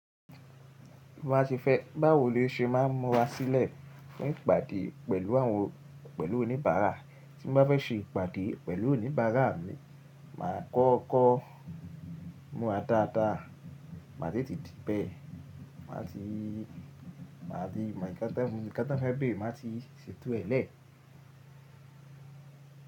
Má ṣe fẹ́ báwo ló ṣe máa múra sílẹ̀ fún ìpàdé pẹ̀lú àwọn, pẹ̀lú oníbàárà. Tí mo bá fẹ́ ṣe ìpàdé pẹ̀lú oníbàárà mi, màá kọ́kọ́ múra dada, màá tètè dìbẹ̀, màá ti, màá nká tanfe bere, màá ti ṣètò ẹ lẹ́.